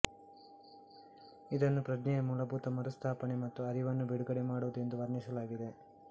ಇದನ್ನು ಪ್ರಜ್ಞೆಯ ಮೂಲಭೂತ ಮರುಸ್ಥಾಪನೆ ಮತ್ತು ಅರಿವನ್ನು ಬಿಡುಗಡೆ ಮಾಡುವುದು ಎಂದು ವರ್ಣಿಸಲಾಗಿದೆ